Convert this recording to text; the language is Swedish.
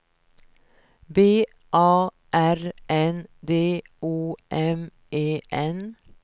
B A R N D O M E N